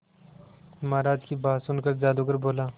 महाराज की बात सुनकर जादूगर बोला